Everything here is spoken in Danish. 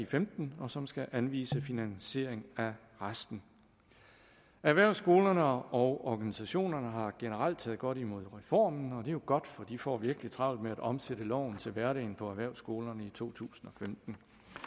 femten og som skal anvise finansiering af resten erhvervsskolerne og organisationerne har generelt taget godt imod reformen og det er jo godt for de får virkelig travlt med at omsætte loven til hverdagen på erhvervsskolerne i to tusind og femten